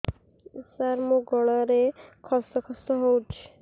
ସାର ମୋ ଗଳାରେ ଖସ ଖସ ହଉଚି